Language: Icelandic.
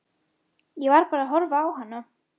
Ég var bara að horfa á hana.